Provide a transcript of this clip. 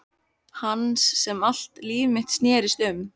Hans sem allt líf mitt snerist um.